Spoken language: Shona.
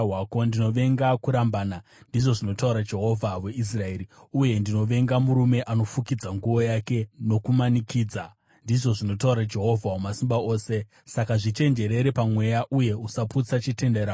“Ndinovenga kurambana,” ndizvo zvinotaura Jehovha Mwari weIsraeri, “uye ndinovenga murume anofukidza nguo yake nokumanikidza,” ndizvo zvinotaura Jehovha Wamasimba Ose. Saka zvichenjerere pamweya uye usaputsa chitenderano.